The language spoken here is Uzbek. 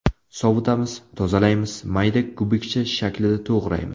Sovitamiz, tozalaymiz, mayda kubikcha shaklida to‘g‘raymiz.